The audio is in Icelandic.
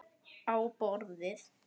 Á borðið.